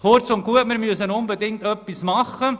Kurz und gut: Wir müssen unbedingt etwas unternehmen.